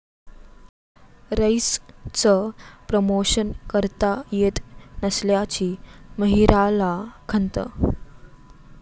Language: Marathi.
रईस'चं प्रमोशन करता येत नसल्याची माहिराला खंत